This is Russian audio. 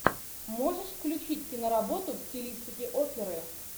можешь включить киноработу в стилистике оперы